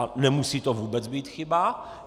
A nemusí to vůbec být chyba.